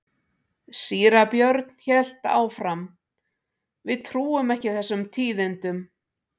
Síra Björn hélt áfram:-Við trúum ekki þessum tíðindum.